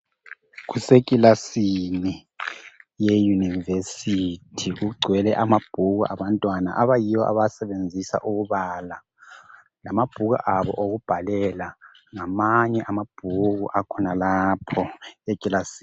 Kusekilasini ye university kugcwele ama bhuku abantwana abayiwo abawasebenzisa ukubala lamabhuku abo okubhalela lamanye amabhuku akhonalapho ekilasini.